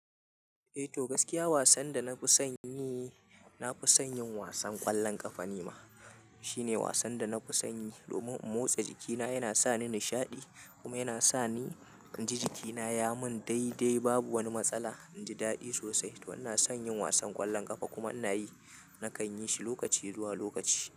Eh to gaskiya wasan da na fi son yi, na fi son yin wasan ƙwallon ƙafa ni ma. Shine wasan da na fi son yi domin in motsa jikina, yana sa ni nishaɗi kuma yana sa ni in ji jikina ya mun dai-dai babu wani matsala. In ji daɗi sosai don ina son yin wasan ƙwallon ƙafa kuma ina yi. Nakan yi shi lokaci zuwa lokaci.